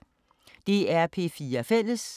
DR P4 Fælles